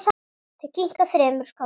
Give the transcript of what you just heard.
Þau kinka þremur kollum.